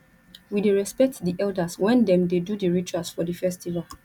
we dey respect di elders wen dem dey do di rituals for di festival